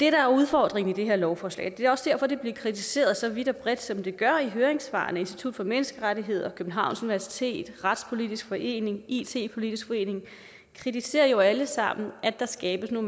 er udfordringen i det her lovforslag det er også derfor det bliver kritiseret så vidt og bredt som det gør i høringssvarene institut for menneskerettigheder københavns universitet retspolitisk forening it politisk forening kritiserer jo alle sammen at der skabes en